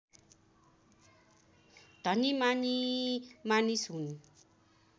धनीमानी मानिस हुन्